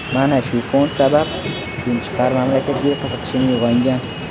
Mana shu fond sabab, Kunchiqar mamlakatga qiziqishim uyg‘ongan.